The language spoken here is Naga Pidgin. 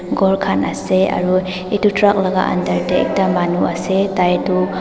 ghor khan ase aru edu truck laka under tae ekta manu ase tai tu--